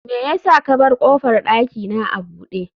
me yasa ka bar kofar dakina a bude